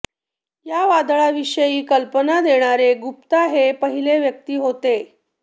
या वादळाविषयी कल्पना देणारे गुप्ता हे पहिले व्यक्ती होते